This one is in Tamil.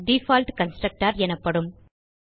டிஃபால்ட் கன்ஸ்ட்ரக்டர் எனப்படும்